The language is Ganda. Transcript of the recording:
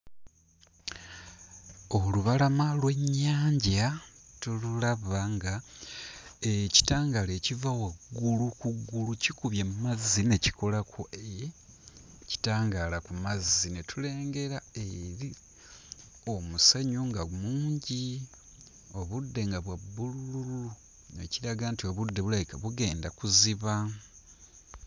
Olubalama lw'ennyanja tululaba nga ekitangaala ekiva waggulu ku ggulu kikubye mmazzi ne kikolako ekitangaala ku mazzi ne tulengera eri omusenyu nga mungi obudde nga bwa bbululu ekiraga nti obudde bulabika bugenda kuziba.